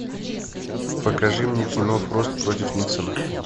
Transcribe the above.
покажи мне кино фрост против никсона